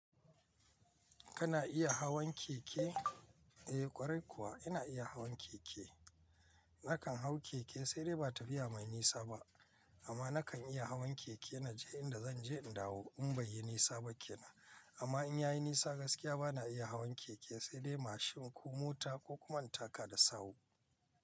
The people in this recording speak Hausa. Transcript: Kana iya hawan keke? Eh ƙwarai kuwa ina iya hawan keke. Nakan hau keke, sai dai ba tafiya mai nisa ba. Amma nakan iya hawan keke na je inda zan je in dawo in bai yi nisa ba kenan. Amma in ya yi nisa gaskiya bana iya hawan keke sai dai mashin ko mota ko kuma in taka da sahu.